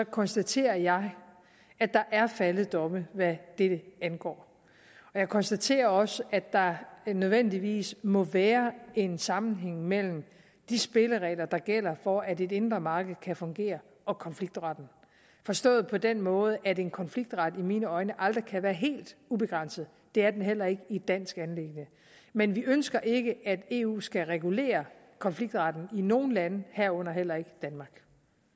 konstaterer jeg at der er faldet domme hvad dette angår jeg konstaterer også at der nødvendigvis må være en sammenhæng mellem de spilleregler der gælder for at det indre marked kan fungere og konfliktretten forstået på den måde at en konfliktret i mine øjne aldrig kan være helt ubegrænset det er den heller ikke i dansk anliggende men vi ønsker ikke at eu skal regulere konfliktretten i nogen lande herunder heller ikke danmark